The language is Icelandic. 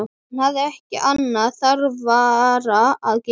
Hún hafði ekki annað þarfara að gera.